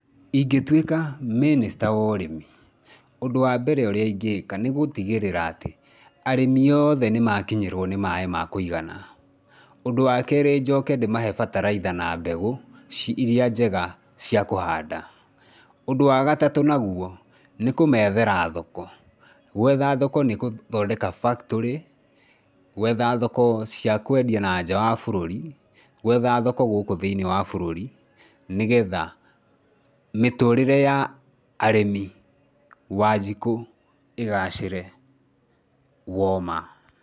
Ingĩtuĩka mĩnĩcita wa ũrĩmi, ũndũ wa mbere ũrĩa ingĩka, nĩ gũtigĩrĩra atĩ arĩmi othe nĩmakinyĩrwo nĩ maĩ ma kũigana, ũndũ wa kerĩ, njoke ndĩmahe bataraitha na mbegũ irĩa njega cia kũhanda, ũndũ wa gatatũ nagũo nĩkũmethera thoko. Gwetha thoko nĩgũthondeka factory, gwetha thoko cia kwendia na nja wa bũrũri, gwetha thoko gũkũ thĩ-inĩ wa bũrũri nĩgetha mĩtũrire ya arĩmi, wanjikũ igacĩre wo ma.